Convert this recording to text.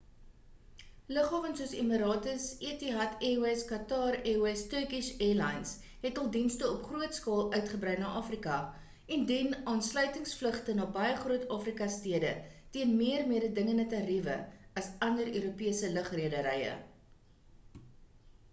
lughawens soos emirates etihad airways qatar airways & turkish airlines het hul dienste op groot skaal uitgebrei na afrika en bied aansluitingsvlugte na baie groot afrika stede teen meer mededingende tariewe as ander europese lugrederye